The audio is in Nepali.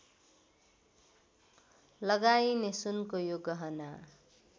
लगाइने सुनको यो गहना